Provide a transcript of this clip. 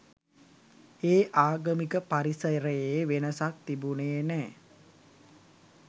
ඒ ආගමික පරිසරයේ වෙනසක් තිබුනේ නැහැ.